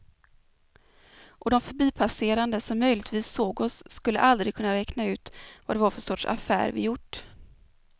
Och de förbipasserande som möjligtvis såg oss skulle aldrig kunna räkna ut vad det var för sorts affär vi gjort.